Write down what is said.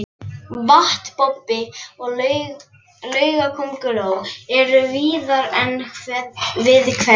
Vatnabobbi og laugakönguló eru víðar en við hveri.